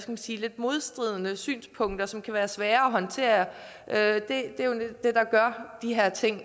man sige lidt modstridende synspunkter som kan være svære at håndtere er det der gør de her ting